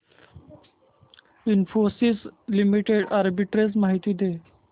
Infosys limited arbitrage माहिती दे